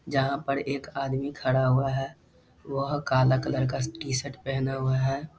जहाँ पर एक आदमी खड़ा हुआ है वह काला कलर का टी-शर्ट पहना हुआ है ।